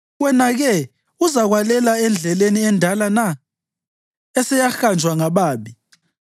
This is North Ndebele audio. Wena-ke uzakwalela endleleni endala na eseyahanjwa ngababi?